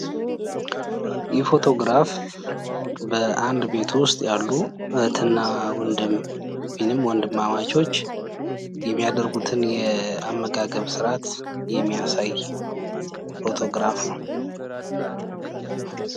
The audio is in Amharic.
ይህ ፎቶ ግራፍ በአንድ ቤት ውስጥ ያሉ እህት እና ወንድም ወይም ወንድማማቾች የሚያደርጉትን የአመጋገብ ስርዓት የሚያሳይ ፎቶግራፍ ነው።